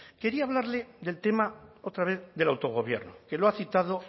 quería hablarle del tema otra vez del autogobierno que lo ha citado